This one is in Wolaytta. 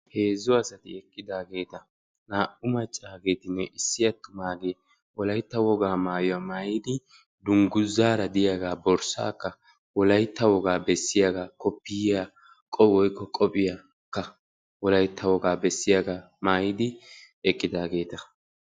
hezzu asati eqqidaageeta naa'u attumaageetinne issi macaageeti wolaytta wogaa maayuwa maayidi dungguzaara diyaagaa borssaakka wolaytta wogaa bessiyaagaa koppoyiyaakka qophiyaara diyaagaa wolaytta wogaa maayuwaa maayidi eqqidaageeta.